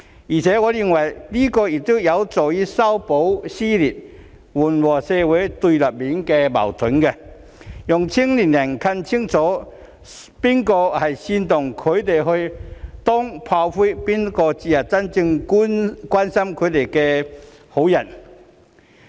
此外，我認為此舉亦有助修補撕裂、緩和社會對立面的矛盾，讓年輕人更清楚知道，究竟是誰煽動他們去當炮灰，誰才是真正關心他們的好人。